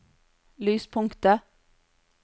lyspunktet